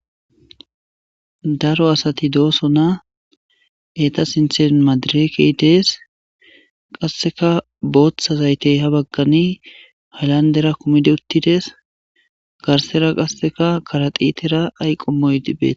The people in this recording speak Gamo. Daro asati dosona eta sintan madireke des qaseka bota zayte habagani halandera kumidi utides garsera qaseka karadhitera ayko mishi betes.